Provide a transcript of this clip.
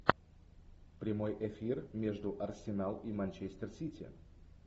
прямой эфир между арсенал и манчестер сити